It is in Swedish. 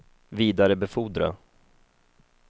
vidarebefordra